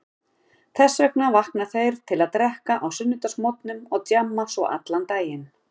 Þess vegna vakna þeir til að drekka á sunnudagsmorgnum og djamma svo allan daginn.